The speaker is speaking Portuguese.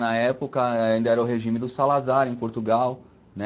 Na época ainda era o regime do Salazar em Portugal, né?